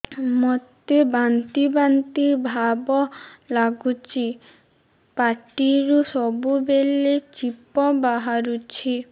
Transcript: ମୋତେ ବାନ୍ତି ବାନ୍ତି ଭାବ ଲାଗୁଚି ପାଟିରୁ ସବୁ ବେଳେ ଛିପ ବାହାରୁଛି